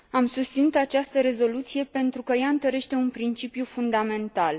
Am susținut această rezoluție, pentru că ea întărește un principiu fundamental.